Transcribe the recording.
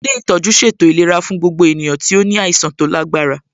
Ilé ìtọ́jú ṣètò ìlera fún gbogbo ènìyàn tí ó ní àìsàn tó lágbára